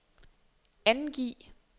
angiv